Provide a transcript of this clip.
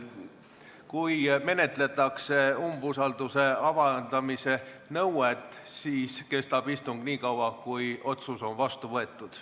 Kui menetletakse umbusalduse avaldamise nõuet, siis kestab istung nii kaua, kuni otsus on vastu võetud.